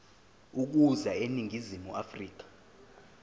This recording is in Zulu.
ukuza eningizimu afrika